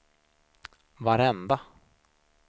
varenda